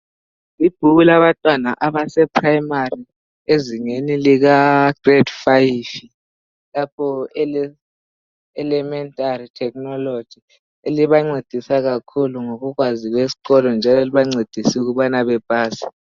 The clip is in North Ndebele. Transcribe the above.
Ibhuku labantwana abase primary ezingeni lika grade 5 lapho ele Elementary Technology elibancedisa kakhulu ngolwazi esikolo njalo elibancedisa ukubana bapase